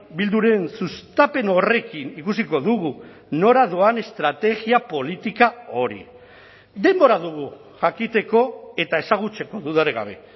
bilduren sustapen horrekin ikusiko dugu nora doan estrategia politika hori denbora dugu jakiteko eta ezagutzeko dudarik gabe